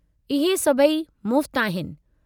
इहे सभई मुफ़्त आहिनि।